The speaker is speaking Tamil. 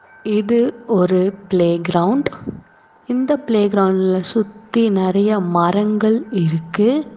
இது ஒரு ப்ளே கிரவுண்ட் இந்த ப்ளே கிரவுண்ட்ல சுத்தி நெறையா மரங்கள் இருக்கு.